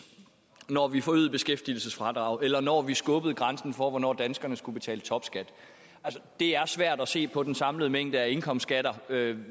når vi forøgede beskæftigelsesfradraget eller når vi skubbede grænsen for hvornår danskerne skulle betale topskat det er svært at se på den samlede mængde af indkomstskatter